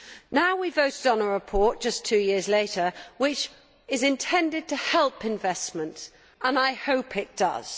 Now we have voted on a report just two years later which is intended to help investment, and I hope it does.